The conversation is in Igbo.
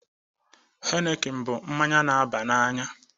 heineken na-aṅụ mmanya